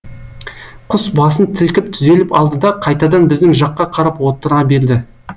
құс басын сілкіп түзеліп алды да қайтадан біздің жаққа қарап отыра берді